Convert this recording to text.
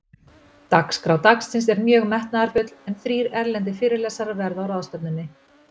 Dagskrá dagsins er mjög metnaðarfull, en þrír erlendir fyrirlesarar verða á ráðstefnunni.